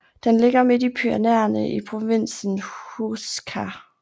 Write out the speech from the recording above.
Den ligger midt i Pyrenæerne i provinsen Huesca